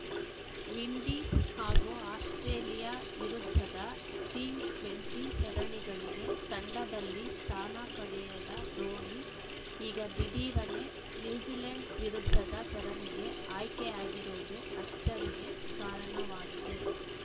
Windies ಹಾಗೂ Australia ವಿರುದ್ಧದ T twenty ಸರಣಿಗಳಿಗೆ ತಂಡದಲ್ಲಿ ಸ್ಥಾನ ಪಡೆಯದ ಧೋನಿ ಈಗ ದಿಢೀರನೆ ನ್ಯೂಜಿಲೆಂಡ್‌ ವಿರುದ್ಧದ ಸರಣಿಗೆ ಆಯ್ಕೆಯಾಗಿರುವುದು ಅಚ್ಚರಿಗೆ ಕಾರಣವಾಗಿದೆ